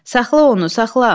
Saxla onu, saxla!